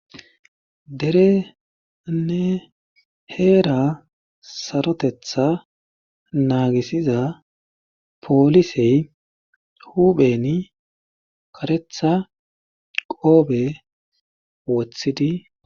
dere nne heera sarotetha naagisiza poolisey hupheni karetha qoobe woththidi